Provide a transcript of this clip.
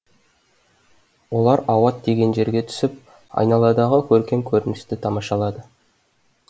олар ауат деген жерге түсіп айналадағы көркем көріністі тамашалады